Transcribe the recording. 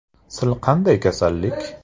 Sil qanday kasallik?